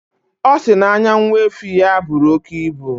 Ọ sị na anya nwa efi ya buru oke ibu.